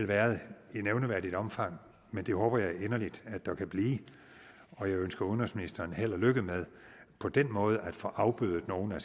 været i nævneværdigt omfang men det håber jeg inderligt at der kan blive og jeg ønsker udenrigsministeren held og lykke med på den måde at kunne få afbødet nogle af